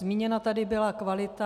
Zmíněna tady byla kvalita.